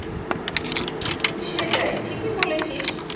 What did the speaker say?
সেটাই ঠিকই বলেছিস।